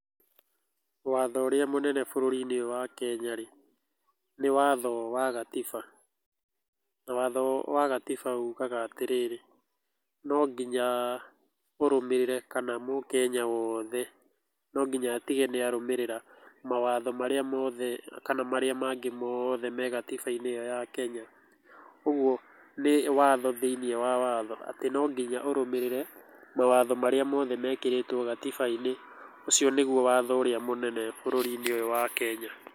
Watho ũrĩa mũnene bũrũri-inĩ ũyũ wa Kenya-rĩ, nĩ watho wa gatiba. Watho wa gatiba ugaga atĩrĩrĩ, nonginya mũrũmĩrĩre, kana mũkenya wothe nonginya atige nĩ arũmĩrĩra mawatho marĩa mothe kana marĩa mangĩ mothe me gatiba-inĩ ĩyo ya Kenya, ũgwo nĩ watho thĩiniĩ wa watho, atĩ nonginya ũrũmĩrĩre mawatho marĩa mothe mekĩrĩtwo gatiba-inĩ. Ũcio nĩgwo watho ũrĩa mũnene bũrũri-inĩ ũyũ wa Kenya.